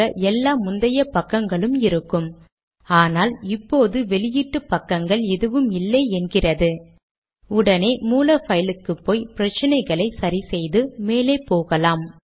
மொத்த கடிதமும் ஒரு பக்கத்தில் அடங்குவதை காணலாம்